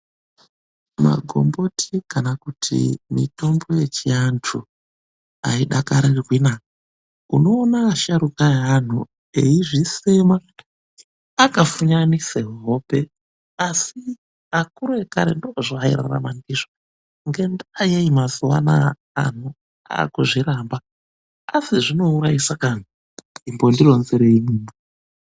Magomboti kana kuti mitombo yechiantu aidakarirwi na! Unoona asharuka aanhu eizvinyenya akafunyanise kuhope, asi akuru ekare ndoozveairarama ndizvo. Ngendaa yei mazuwa anaa anhu aakuzviramba? Asi zvinouraisa kani? Imbondironzereiwo.